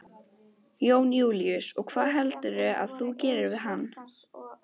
Jón Júlíus: Og hvað heldurðu að þú gerir við hann?